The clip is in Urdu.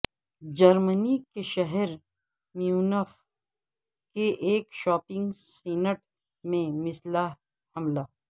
جرمنی کے شہر میونخ کے ایک شاپنگ سینٹ میں مسلح حملہ